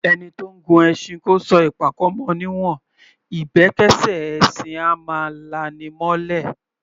Ẹni tó ńgun ẹṣin kó sọ ìpàkọ́ mọ ní'wọ̀n; ìbẹ́kẹ́ṣẹ́ ẹṣin á máa la’ni mọ́’lẹ̀.